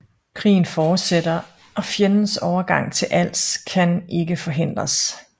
Krigen fortsætter og fjendens overgang til Als kan ikke forhindres